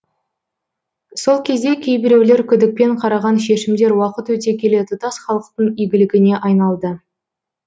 сол кезде кейбіреулер күдікпен қараған шешімдер уақыт өте келе тұтас халықтың игілігіне айналды